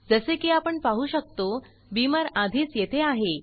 जसे की आपण पाहु शकतो बीमर आधीच येथे आहे